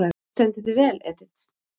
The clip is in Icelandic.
Þú stendur þig vel, Edit!